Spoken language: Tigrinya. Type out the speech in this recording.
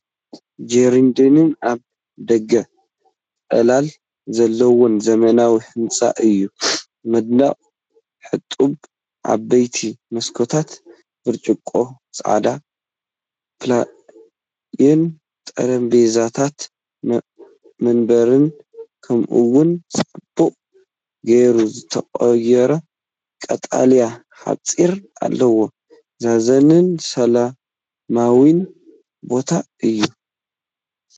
ጀርዲንን ኣብ ደገ ጽላል ዘለዎን ዘመናዊ ህንጻ እዩ። መንደቕ ሕጡብ፡ ዓበይቲ መስኮታት ብርጭቆ፡ ጻዕዳ ፓቪልዮን፡ ጠረጴዛታትን መንበርን፡ ከምኡ’ውን ጽቡቕ ጌሩ ዝተቖርጸ ቀጠልያ ሓጹር ኣለዎ። ዘዛንን ሰላማውን ቦታ እዩ፡፡